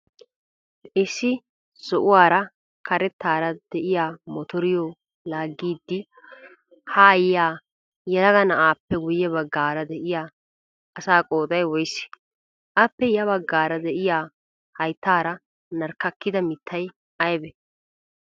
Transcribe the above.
Issi zo''uwaara karettaara de'iya motoriyo laaggiddi haa yiya yelaga na''appe guyye baggaara de'iyaa asaa qooday woyisee? Appe ya baggaara de''iyaa hayittaara narkkakida mittay ayibee?